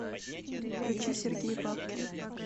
включи сергей бабкин